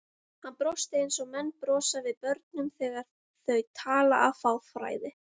Hann brosti eins og menn brosa við börnum þegar þau tala af fáfræði.